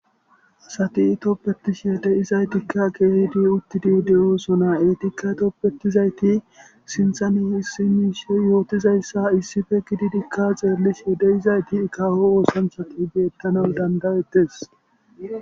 Hati toppetishie de izaytikka geehidi uttidi de'osonaa eetikka toppetizayti sinthani hissi miishe yootizayssa issife gididika xeellishe de'izayti ikawo woosan sati betana dandaettes